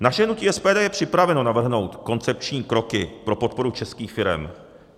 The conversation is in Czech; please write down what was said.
Naše hnutí SPD je připraveno navrhnout koncepční kroky pro podporu českých firem.